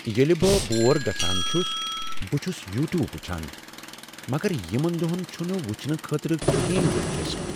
ییٚلہ بہٕ بور گژھان چھُس، بہٕ چھُس یوٗ ٹیوب وُچھان۔ مگر یِمن دۄہن چُھنہٕ وُچھنہٕ خٲطرٕ کہین دلچسپ۔